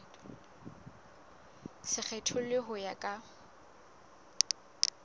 se kgethollwe ho ya ka